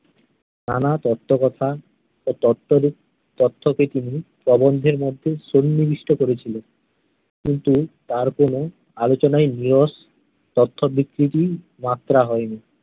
নানা তত্ত্বকথা, ও তত্ত্ব উহ তত্ত্বকে তিনি প্রবন্ধের মধ্যে সন্নিবিষ্ট করেছিলেন। কিন্তু তার কোন আলোচনাই নীরস তথ্য বিকৃতি এর মাত্রা হয়নি।